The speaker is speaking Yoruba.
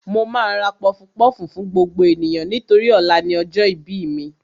Mo máa ra pọfupọ́ọ̀fù fún gbogbo ènìyàn nítorí ọ̀la ni ọjọ́ ìbí mi